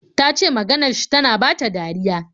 Ta ce maganar shi tana bata dariya.